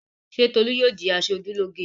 Ṣé Tolú yóò di aṣojúlóge?